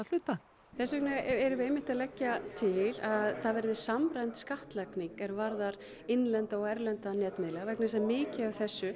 hluta þess vegna erum við einmitt að leggja til að það verði samræmd skattlagning er varðar innlenda og erlenda netmiðla vegna þess að mikið af þessu